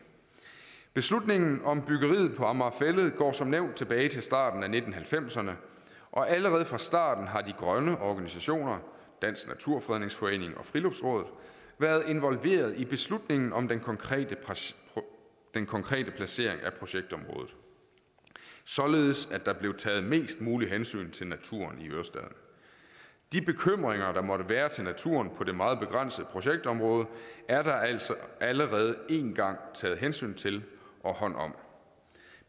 beslutningen om byggeriet på amager fælled går som nævnt tilbage til starten af nitten halvfemserne og allerede fra starten har de grønne organisationer dansk naturfredningsforening og friluftsrådet været involveret i beslutningen om den konkrete den konkrete placering af projektområdet således at der blev taget mest mulig hensyn til naturen i ørestaden de bekymringer der måtte være til naturen på det meget begrænsede projektområde er der altså allerede én gang taget hensyn til og hånd om